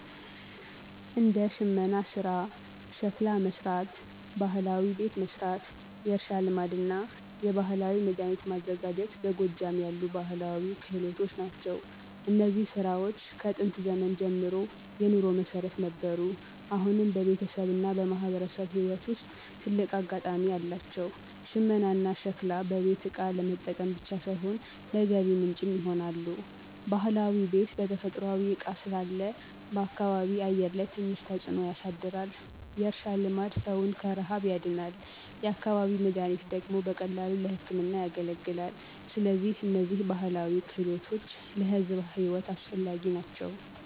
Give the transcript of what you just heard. እንደ ሽመና ሥራ፣ ሸክላ መሥራት፣ ባህላዊ ቤት መሥራት፣ የእርሻ ልማድና የባህላዊ መድኃኒት ማዘጋጀት በጎጃም ያሉ ባህላዊ ክህሎት ናቸው። እነዚህ ሥራዎች ከጥንት ዘመን ጀምሮ የኑሮ መሠረት ነበሩ፣ አሁንም በቤተሰብና በማህበረሰብ ሕይወት ውስጥ ትልቅ አጋጣሚ አላቸው። ሽመናና ሸክላ በቤት እቃ ለመጠቀም ብቻ ሳይሆን ለገቢ ምንጭም ይሆናሉ። ባህላዊ ቤት በተፈጥሯዊ እቃ ስላለ በአካባቢ አየር ላይ ትንሽ ተጽዕኖ ያሳያል። የእርሻ ልማድ ሰውን ከረሃብ ያድናል፤ የአካባቢ መድኃኒት ደግሞ በቀላሉ ለሕክምና ያገለግላል። ስለዚህ እነዚህ ባህላዊ ክህሎቶች ለሕዝብ ሕይወት አስፈላጊ ናቸው።